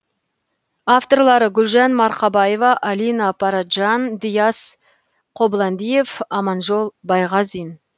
авторлары гүлжан марқабаева алина параджан диас қобландиев аманжол байғазин